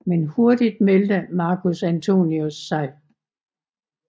Men hurtigt meldte Marcus Antonius sig